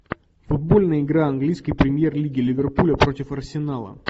футбольная игра английской премьер лиги ливерпуля против арсенала